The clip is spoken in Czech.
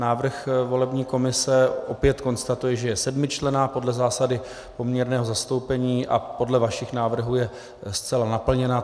Návrh volební komise opět konstatuje, že je sedmičlenná podle zásady poměrného zastoupení, a podle vašich návrhů je zcela naplněna.